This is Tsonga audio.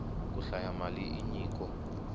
ku hlaya mali i nyiko